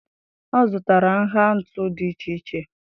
Ọ zụtara nha ntu dị iche iche.